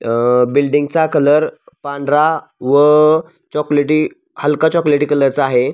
अ बिल्डींगचा कलर पांढरा व चॉकलेटी हलका चॉकलेटी कलरचा आहे.